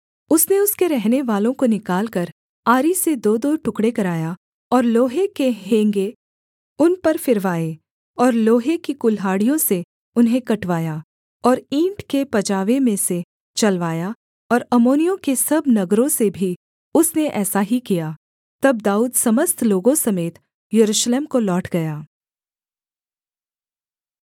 उसने उसके रहनेवालों को निकालकर आरी से दोदो टुकड़े कराया और लोहे के हेंगे उन पर फिरवाए और लोहे की कुल्हाड़ियों से उन्हें कटवाया और ईंट के पजावे में से चलवाया और अम्मोनियों के सब नगरों से भी उसने ऐसा ही किया तब दाऊद समस्त लोगों समेत यरूशलेम को लौट गया